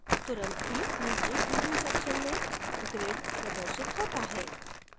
तुरंत ही नीचे preview section में grid प्रदर्शत होता है